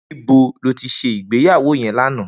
Nibó ló ti sé igbéyàwó yèn làná?